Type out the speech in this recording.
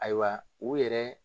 Ayiwa u yɛrɛ